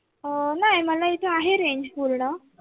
अह नाय मला इथे आहे range पूर्ण